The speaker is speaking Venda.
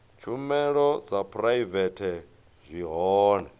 tshumelo dza phuraivete zwi hone